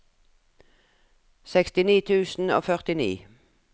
sekstini tusen og førtini